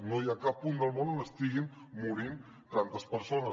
no hi ha cap punt del món on estiguin morint tantes persones